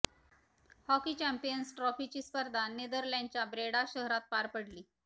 hockey champions ट्रॉफीची स्पर्धा नेदरलँडच्या ब्रेडा शहरात पार पडली